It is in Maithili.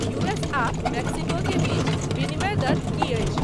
यू. एस. आ मेक्सिको के बीच विनिमय दर की अछि